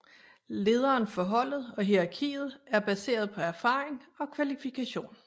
Lederen for holdet og hierarkiet er baseret på erfaring og kvalifikation